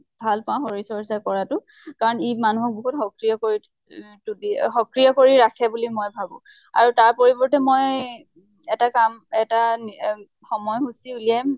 ভাল পাওঁ শৰীৰ চৰ্চা কৰাটো। কাৰণ ই মানুহক বহুত সক্ৰীয় কৰি তোলি সক্ৰীয় কৰি ৰাখে বুলি মই ভাবো। আৰি তাৰ পৰিৱৰ্তে মই এটা কাম এটা নি অম সময় সূচী উলিয়াম